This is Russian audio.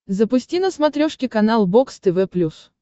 запусти на смотрешке канал бокс тв плюс